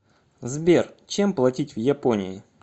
сбер чем платить в японии